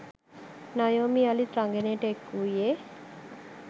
නයෝමි යළිත් රංගනයට එක් වූයේ